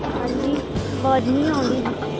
ਹਾਂਜੀ ਆਵਾਜ਼ ਨਹੀਂ ਆਉਣ ਦੀ ਸੀ।